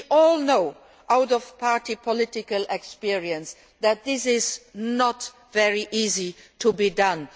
lists. We all know, through party political experience, that this is not very easily